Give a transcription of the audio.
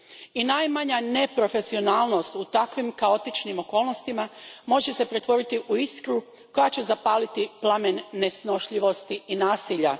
I najmanja neprofesionalnost u takvim kaotičnim okolnostima može se pretvoriti u iskru koja će zapaliti plamen nesnošljivosti i nasilja.